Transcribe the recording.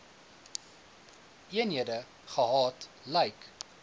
eenhede gehad lyk